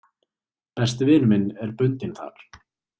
Besti vinur minn er bundinn þar